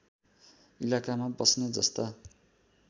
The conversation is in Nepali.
इलाकामा बस्ने जस्ता